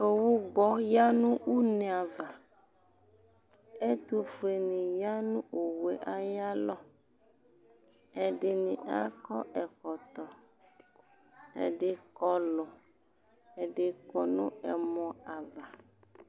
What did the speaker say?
Owu gbɔ ya n'une ava, ɛtʋfueni ya nʋ owu yɛ ayalɔ, ɛdini akɔ ɛkɔtɔ, ɛdi kɔlʋ, ɛdi kɔnʋ ɛmɔ ava